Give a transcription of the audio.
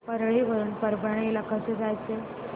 परळी वरून परभणी ला कसं जायचं